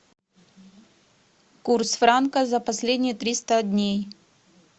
курс франка за последние триста дней